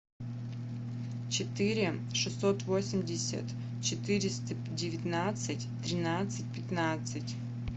четыре шестьсот восемьдесят четыреста девятнадцать тринадцать пятнадцать